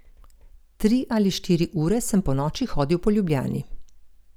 Tri ali štiri ure sem ponoči hodil po Ljubljani.